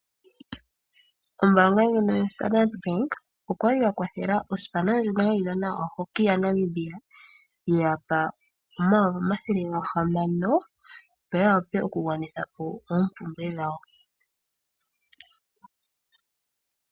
Ombaanga ndjono yo Standard Bank oyali ya kwathela osipana ndjono hayi dhana oHockey ya Namibia, yagandja omayovi omathele ga hamano, opo ya wape oku gwanitha po oompumbwe dhawo.